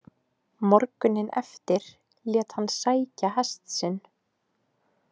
Morguninn eftir lét hann sækja hest sinn.